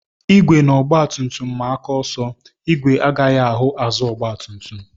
Igwe na ọgbatumtum maa aka ọsọ, ìgwè agaghị ahụ azụ ọgbatumtum